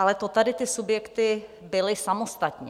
Ale to tady ty subjekty byly samostatně.